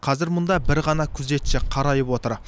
қазір мұнда бір ғана күзетші қарайып отыр